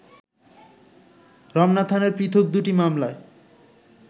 রমনা থানার পৃথক দুটি মামলায়